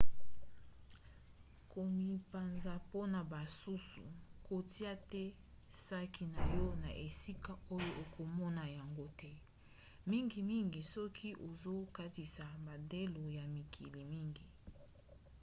komibanza mpona basusu - kotia te saki na yo na esika oyo okomona yango te mingimingi soki ozokatisa bandelo ya mikili mingi